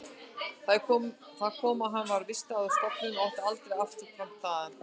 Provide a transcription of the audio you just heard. Þar kom að hann var vistaður á stofnun og átti aldrei afturkvæmt þaðan.